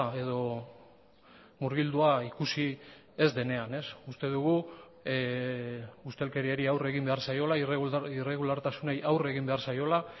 edo murgildua ikusi ez denean uste dugu ustelkeriari aurre egin behar zaiola irregulartasunei aurre egin behar zaiola